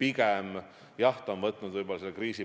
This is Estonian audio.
See võttis jah kriisi